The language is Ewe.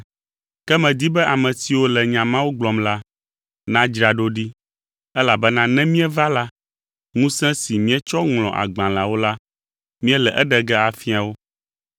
Ke medi be ame siwo le nya mawo gblɔm la, nadzra ɖo ɖi, elabena ne míeva la, ŋusẽ si míetsɔ ŋlɔ agbalẽawo la, míele eɖe ge afia wo.